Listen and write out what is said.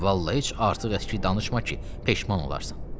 Vallahi heç artıq danışma ki, peşman olarsan.